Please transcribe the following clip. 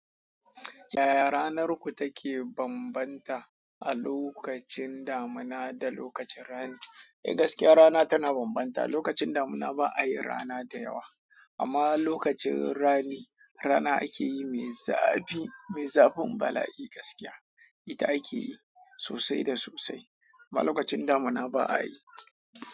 Yaya ranarku take bambanta a lokacin damina da lokacin rani? Eh gaskiya rana tana bambanta, lokacin damina ba a yin rana da yawa amma lokacin rani, rana ake yi mai zafi, mai zafin bala'i gaskiya. Ita ake yi sosai da sosai, amma lokacin damina ba a yi.